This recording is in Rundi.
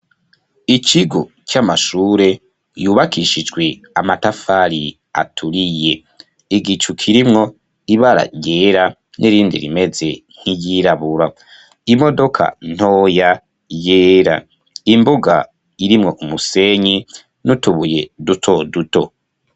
Ikigo c'amashure yubakishijwe amatafari aturiye, igicu kirimwo ibara ryera nirindi rimeze nk'iyirabura, imodoka ntoya yera, imbuga irimwo umusenyi n'utubuye duto duto.